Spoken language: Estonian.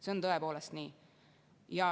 See on tõepoolest nii.